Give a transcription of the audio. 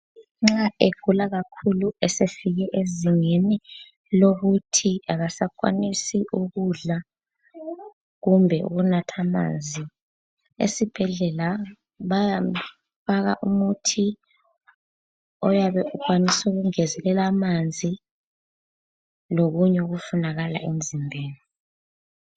Nxa egula kakhulu esefike ezingeni lokuthi akasakwanisi ukudla, kumbe ukunatha amanzi esibhedlela bayamfaka umuthi, oyabe ukwanis'ukungezelela amanzi, lokunye okufunakala emzimbeni.